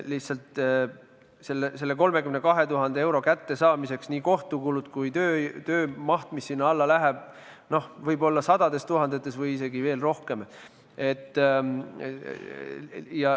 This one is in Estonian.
Lihtsalt selle 32 000 euro kättesaamiseks võivad nii kohtukulud kui ka töö maksumus, mis sinna alla läheb, olla sadades tuhandetes või isegi veel rohkem.